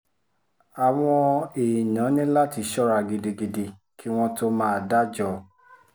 àwọn èèyàn ní láti ṣọ́ra gidigidi kí wọ́n tóó máa dájọ́